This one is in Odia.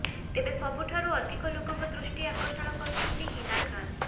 ତେବେ ସବୁଠାରୁ ଅଧିକ ଲୋକଙ୍କ ଦୃଷ୍ଟି ଆକର୍ଷଣ କରୁଛନ୍ତି ହିନା ଖାନ୍